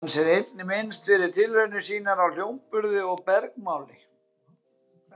Hans er einnig minnst fyrir tilraunir sínar á hljómburði og bergmáli.